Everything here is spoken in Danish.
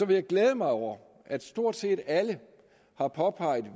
vil glæde mig over at stort set alle har påpeget